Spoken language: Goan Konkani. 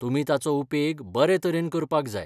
तुमी ताचो उपेग बरे तरेन करपाक जाय.